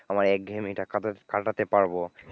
আমার একঘেয়েমীটা কাটাতে কাটাতে পারবো।